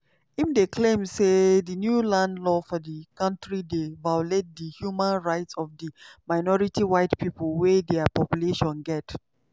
im dey claim say di new land law for di kontri dey violate di human rights of di minority white pipo wey dia population get.